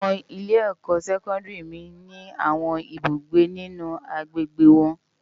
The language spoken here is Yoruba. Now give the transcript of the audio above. Awòn ilé èkò sèkòndári mi ni áwòn ibúgbé ninú ágbégbé wòn